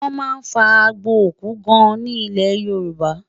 wón má fà àgbò òkú gaan ní ilẹ yorùbá